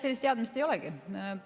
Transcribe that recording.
Sellist teadmist ei olegi.